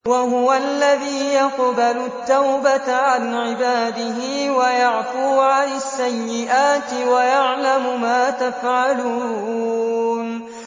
وَهُوَ الَّذِي يَقْبَلُ التَّوْبَةَ عَنْ عِبَادِهِ وَيَعْفُو عَنِ السَّيِّئَاتِ وَيَعْلَمُ مَا تَفْعَلُونَ